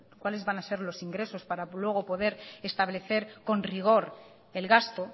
cuáles van a ser los ingresos para luego poder establecer con rigor el gasto